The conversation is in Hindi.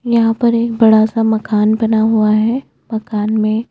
यहाँ पर एक बडा सा मकान बना हुआ है मकान में --